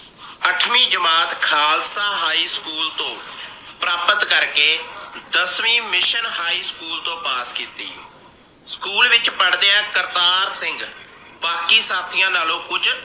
ਅਠਵੀਂ ਜਮਾਤ Khalsa high school ਤੋਂ ਪ੍ਰਾਪਤ ਕਰਕੇ, ਦਸਵੀਂ mission high school ਤੋਂ ਪਾਸ ਕੀਤੀ। school ਵਿਚ ਪੜ੍ਹਦਿਆਂ ਕਰਤਾਰ ਸਿੰਘ ਬਾਕੀ ਸਾਥੀਆਂ ਨਾਲੋਂ ਕੁਝ